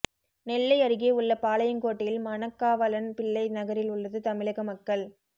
நெல்லை அருகே உள்ள பாளையங்கோட்டையில் மணக்காவலன் பிள்ளை நகரில் உள்ளது தமிழக மக்கள்